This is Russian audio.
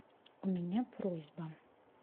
у меня просьба